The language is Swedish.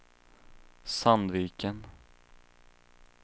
Sandviken